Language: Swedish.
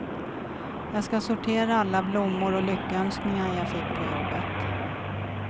Jag ska sortera alla blommor och lyckönskningar jag fick på jobbet.